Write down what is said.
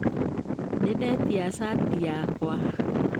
Nĩndetia shati yakwa.